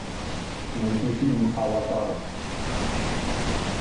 найти фильм аватар